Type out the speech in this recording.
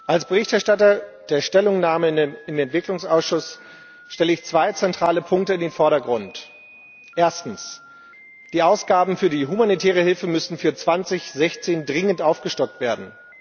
Als Verfasser der Stellungnahme im Entwicklungsausschuss stelle ich zwei zentrale Punkte in den Vordergrund. Erstens Die Ausgaben für die humanitäre Hilfe müssen für 2016 dringend aufgestockt werden.